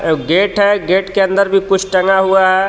अ gate है gate के अंदर भी कुछ टंगा हुआ है.